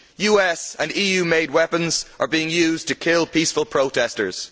US and EU made weapons are being used to kill peaceful protestors.